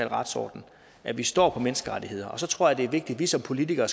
retsorden og at vi står fast på menneskerettighederne og så tror jeg det er vigtigt at vi som politikere